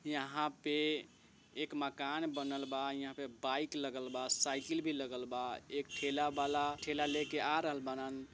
यहाँ पे एक मकान बनल बा यहाँ पे बाईक लगल बा साइकिल बी लगल बा एक ठेला वला ठेला लेके आ रहल बरन।